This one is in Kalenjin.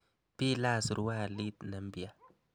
Bilach surualit ne mpya.